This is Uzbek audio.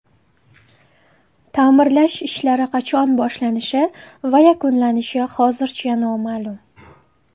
Ta’mirlash ishlari qachon boshlanishi va yakunlanishi hozircha noma’lum.